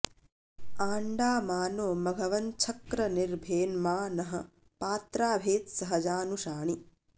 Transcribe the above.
आ॒ण्डा मा नो॑ मघवञ्छक्र॒ निर्भे॒न्मा नः॒ पात्रा॑ भेत्स॒हजा॑नुषाणि